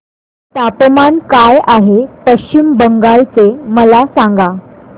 तापमान काय आहे पश्चिम बंगाल चे मला सांगा